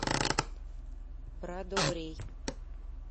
брадобрей